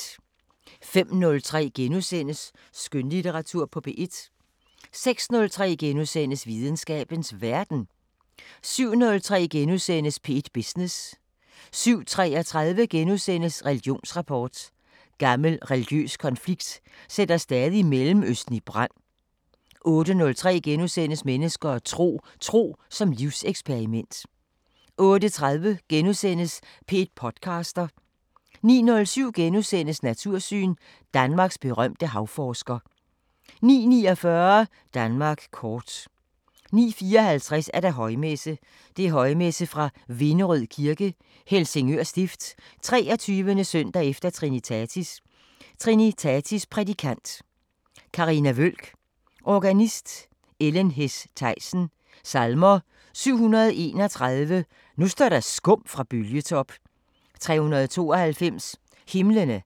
05:03: Skønlitteratur på P1 * 06:03: Videnskabens Verden * 07:03: P1 Business * 07:33: Religionsrapport: Gammel religiøs konflikt sætter stadig Mellemøsten i brand * 08:03: Mennesker og tro: Tro som livseksperiment * 08:30: P1 podcaster * 09:07: Natursyn: Danmarks berømte havforsker * 09:49: Danmark kort 09:54: Højmesse - Højmesse fra Vinderød Kirke, Helsingør Stift. 23. s. e. Trinitatis Prædikant: Carina Wøhlk. Organist: Ellen Hess Thaysen. Salmer: 731: Nu står der skum fra bølgetop. 392: Himlene,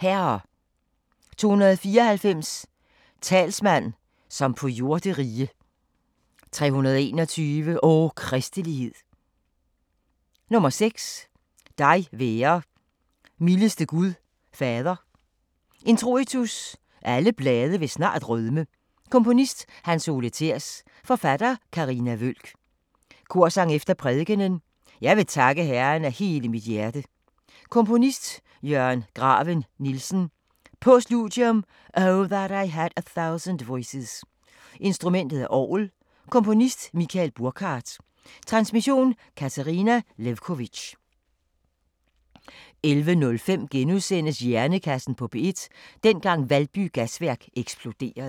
Herre. 294: Talsmand, som på jorderige. 321: O, kristelighed. 6: Dig være, mildeste Gud Fader. Introitus: Alle blade vil snart rødme . Komponist: Hans Ole Thers. Forfatter: Carina Wøhlk. Korsang efter prædikenen: Jeg vil takke Herren af hele mit hjerte. Komponist: Jørgen Graven Nielsen. Postludium: Oh, that I had a Thousand Voices. Instrument: Orgel. Komponist: Michael Burkhardt. Transmission: Katarina Lewkovitch. 11:05: Hjernekassen på P1: Dengang Valby Gasværk eksploderede *